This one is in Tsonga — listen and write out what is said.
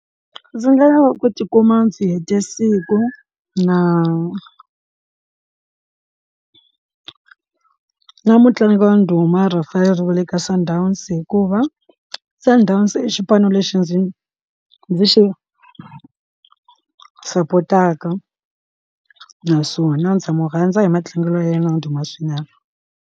Ndzi nga lava ku tikuma ndzi hete siku na mutlangi wa ndhuma referee kwale ka sundowns hikuva a ndzi ta ndhazi i xipano lexi ndzi ndzi xi sapotaka naswona ndza n'wi rhandza hi matlangelo ya yena na ndhuma swinene.